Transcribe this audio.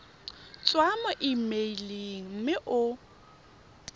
tswa mo emeileng mme o